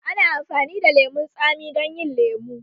Ana amfani da lemun tsami don yin lemu